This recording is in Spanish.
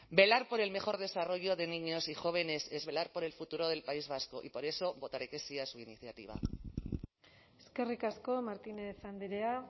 velar por el mejor desarrollo de niños y jóvenes es velar por el futuro del país vasco y por eso votaré que sí a su iniciativa eskerrik asko martínez andrea